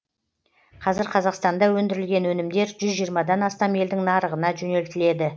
қазір қазақстанда өндірілген өнімдер жүз жиырмадан астам елдің нарығына жөнелтіледі